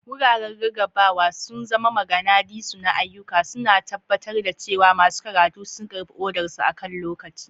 Wuraren rarrabawa sun zama maganadisu na ayyuka, suna tabbatar da cewa masu karatu sun karɓi odarsu akan lokaci.